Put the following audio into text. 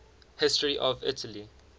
history of italy